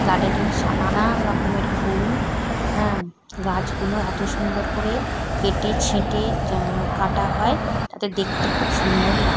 garden এ নানান রকমের ফুল হ্যাঁ গাছ গুলো এতো সুন্দর করে কেটে ছেটে কাঁটা হয় তাতে দেখতে খুব সুন্দর লা--